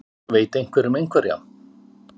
Veit einhver um einhverja?